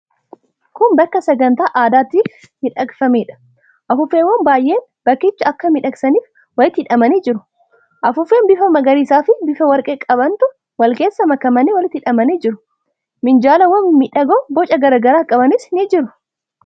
Kun bakka sagantaa addaatiif miidhagfameedha. Afuuffeewwan baay'een bakkicha akka miidhagsaniif walitti hidhamanii jiru. Afuuffee bifa magariisaafi bifa warqee qabantu wal keessa makamanii walitti hidhamanii jiru. Minjaalawwan mimmiidhagoo boca garaa garaa qabanis ni jiru.